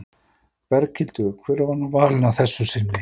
Berghildur, hver var nú valinn að þessu sinni?